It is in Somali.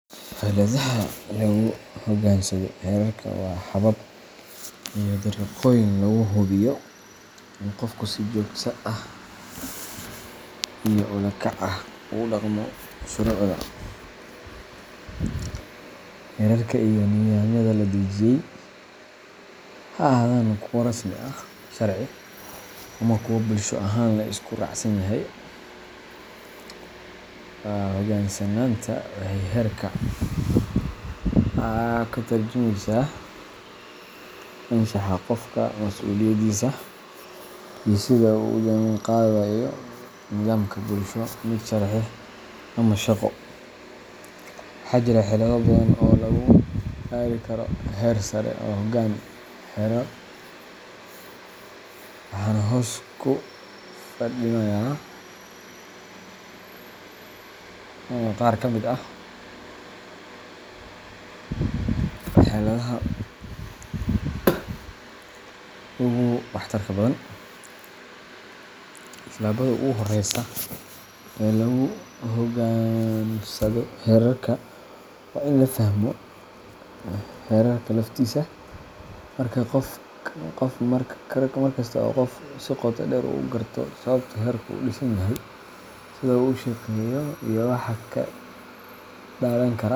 Xeeladaha lagu hoggaansado xeerarka waa habab iyo dariiqooyin lagu hubiyo in qofku si joogto ah iyo ula kac ah ugu dhaqmo shuruucda, xeerarka, iyo nidaamyada la dejiyey, ha ahaadaan kuwo rasmi ah sharci ama kuwo bulsho ahaan la isku raacsan yahay. Hoggaansanaanta xeerarka waxay ka tarjumaysaa anshaxa qofka, masuuliyaddiisa, iyo sida uu ula jaanqaadayo nidaamka bulsho, mid sharci, ama shaqo. Waxaa jira xeelado badan oo lagu gaari karo heer sare oo hoggaan xeerar, waxaana hoos ku faahfaahinayaa qaar ka mid ah xeeladaha ugu waxtarka badan:Tallaabada ugu horreysa ee lagu hoggaansado xeerarka waa in la fahmo xeerarka laftiisa. Mar kasta oo qofku si qoto dheer u garto sababta xeerku u dhisan yahay, sida uu u shaqeeyo, iyo waxa ka dhalan kara.